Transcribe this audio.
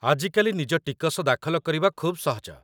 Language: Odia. ଆଜି କାଲି ନିଜ ଟିକସ ଦାଖଲ କରିବା ଖୁବ୍ ସହଜ